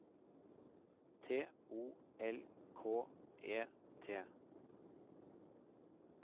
T O L K E T